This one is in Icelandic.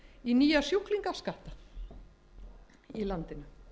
í nýja sjúklingaskatta í landinu